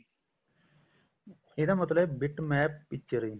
ਇਹਦਾ ਮਤਲਬ ਹੈ bit map picture